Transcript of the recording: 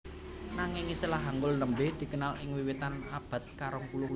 Nanging istilah Hangul nembé dikenal ing wiwitan abad karongpuluh